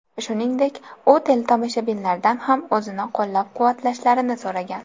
Shuningdek, u teletomoshabinlardan ham o‘zini qo‘llab-quvvatlashlarini so‘ragan.